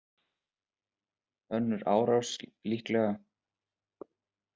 Önnur árás líkleg